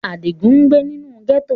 Adigun ngbe ninu gẹto.